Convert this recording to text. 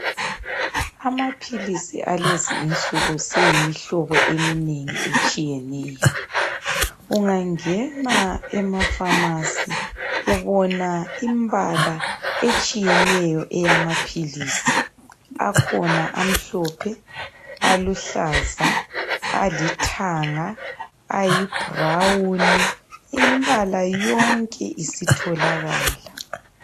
Amaphilisi alezi insuku seyimihlobo eminengi etshiyeneyo. Ungangena emapharmacy ubona imbala etshiyeneyo yamaphilisi. Akhona amhlophe, aluhlaza, alithanga, ayibrown. Imbala yonke isitholakala.